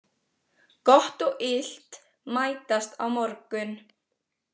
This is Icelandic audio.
Gott og illt mætast á morgun.